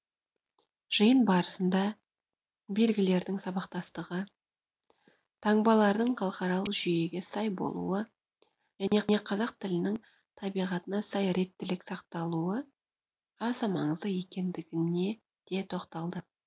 жиын барысында белгілердің сабақтастығы таңбалардың халықаралық жүйеге сай болуы және қазақ тілінің табиғатына сай реттіліктің сақталуы аса маңызды екендігіне де тоқталды